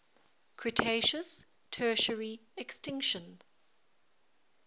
cretaceous tertiary extinction